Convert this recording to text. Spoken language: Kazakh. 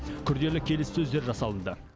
күрделі келіссөздер жасалынды